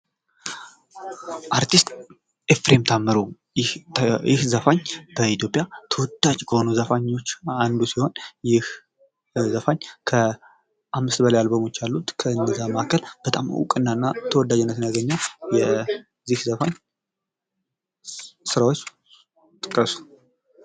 አርቲስት ኤፍሬም ታምሩ ይህ ዘፋኝ በኢትዮጵያ ተወዳጅ ከሆኑ ዘፋኞች አንዱ ሲሆን ይህ ዘፋኝ ከአምስት በላይ አልበሞች አሉት ። ከእነዚያ መካከል በጣም እውቅና እና ተወዳጅነትን ያገኘ የዚህ ዘፈን ስራዎች ጥቀሱ?